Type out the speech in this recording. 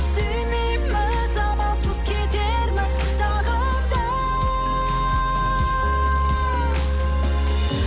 сүймейміз амалсыз кетерміз тағы да